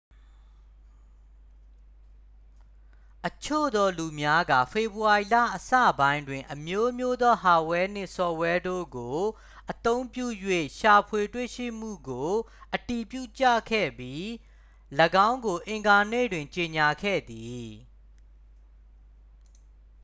အချို့သော လူများက ဖေဖော်ဝေါ်ရီလအစပိုင်းတွင် အမျိုးမျိုးသော ဟာ့ဒ်ဝဲနှင့် ဆော့ဖ်ဝဲတို့ကို အသုံးပြု၍ ရှာဖွေတွေ့ရှိမှုကို အတည်ပြုခဲ့ကြပြီး ၎င်းကို အင်္ဂါနေ့တွင် ကြေညာခဲ့သည်